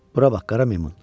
Bura bax, qara meymun!